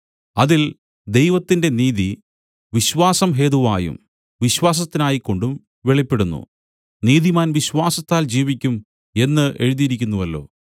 അതിൽ ദൈവത്തിന്റെ നീതി വിശ്വാസം ഹേതുവായും വിശ്വാസത്തിനായിക്കൊണ്ടും വെളിപ്പെടുന്നു നീതിമാൻ വിശ്വാസത്താൽ ജീവിക്കും എന്നു എഴുതിയിരിക്കുന്നുവല്ലോ